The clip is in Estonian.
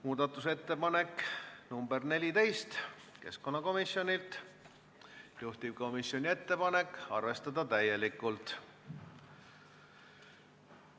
Muudatusettepanek nr 14 on keskkonnakomisjonilt, juhtivkomisjoni ettepanek on arvestada täielikult.